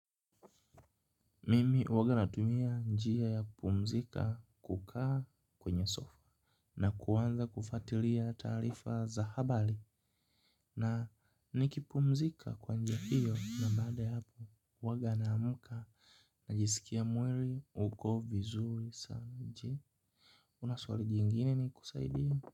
Mimi huwanga natumia njia ya kupumzika kukaa kwenye sofa. Na kuanza kufatilia taarifa za habari. Na nikipumzika kwanjia hiyo na baada ya hapo huwanga na amka najisikia mwili uko vizuri sana. Je una swali jingine ni kusaidie.